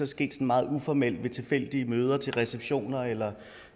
sket meget uformelt ved tilfældige møder til receptioner eller